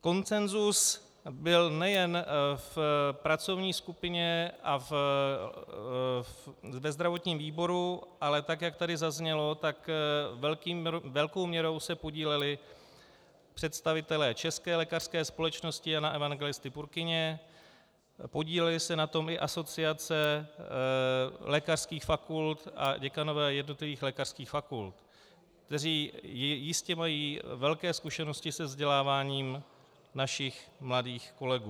Konsenzus byl nejen v pracovní skupině a ve zdravotním výboru, ale tak jak tady zaznělo, tak velkou měrou se podíleli představitelé České lékařské společnosti Jana Evangelisty Purkyně, podílely se na tom i asociace lékařských fakult a děkanové jednotlivých lékařských fakult, kteří jistě mají velké zkušenosti se vzděláváním našich mladých kolegů.